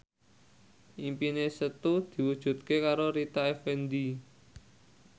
impine Setu diwujudke karo Rita Effendy